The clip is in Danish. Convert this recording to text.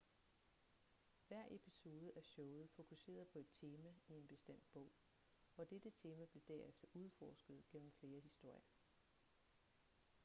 hver episode af showet fokuserede på et tema i en bestemt bog og dette tema blev derefter udforsket gennem flere historier